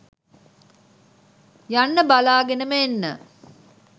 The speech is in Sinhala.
යන්න බලාගෙනම එන්න